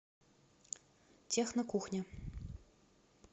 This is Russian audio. технокухня